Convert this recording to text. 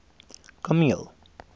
kameel